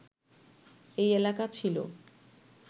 এই এলাকা ছিল